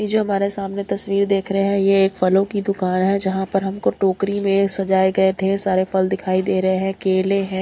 जो हमारे सामने तस्वीर देख रहे हैं ये एक फलों की दुकान है जहां पर हमको टोकरी में सजाए गए ढेर सारे फल दिखाई दे रहे हैं केले हैं।